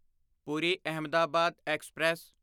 Puri Ahmedabad express